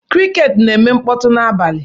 Crickets na-eme mkpọtụ n'abalị.